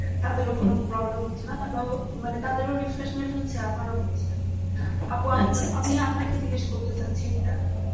তাদেরও কোনো problem হচ্ছে না তারাও মানে তাদেরও refreshment হচ্ছে আর আমারও হচ্ছে আপু আপনা~ আমি আপনাকে জিগ্গেস করতে চাইছি এইটা,